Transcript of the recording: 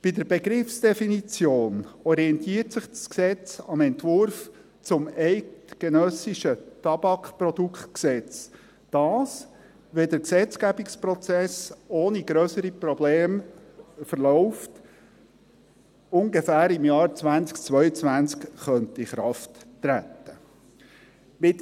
Bei der Begriffsdefinition orientiert sich das Gesetz am Entwurf zum eidgenössischen Tabakproduktegesetz, welches – wenn der Gesetzgebungsprozess ohne grössere Probleme verläuft – ungefähr im Jahr 2022 in Kraft treten könnte.